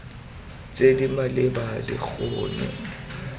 tse di maleba di kgone